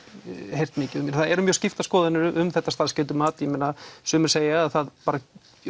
heyrt mikið það eru mjög skiptar skoðanir um þetta starfsgetumat ég meina sumir segja að það bara